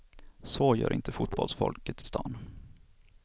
Så gör inte fotbollsfolket i stan.